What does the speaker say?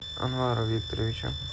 анвара викторовича